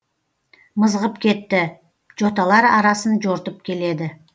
мызғып кетті жоталар арасын жортып келеді